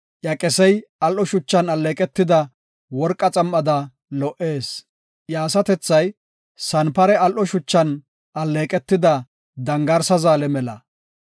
Iya qesey al7o shuchan alleeqetida worqa xam7ada lo77ees; iya asatethay sanpare al7o shuchan alleeqetida dangarsa zaale mela.